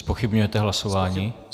Zpochybňujete hlasování?